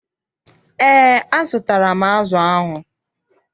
EÉ, azụtara m azụ ahụ.